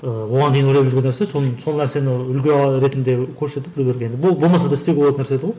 ыыы оған дейін ойлап жүрген нәрсе сол сол нәрсені үлгі ретінде көрсетіп біреулерге енді болмаса да істеуге болатын нәрсе еді ғой